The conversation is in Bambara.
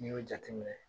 N'i y'o jateminɛ